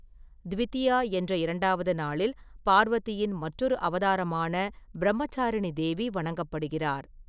த்விதியா என்ற இரண்டாவது நாளில், பார்வதியின் மற்றொரு அவதாரமான பிரம்மசாரிணி தேவி வணங்கப்படுகிறார்.